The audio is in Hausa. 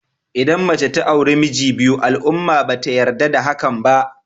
Idan mace ta auri miji biyu al'umma ba ta yarda da hakan ba.